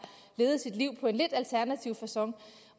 levet sit liv på en lidt alternativ facon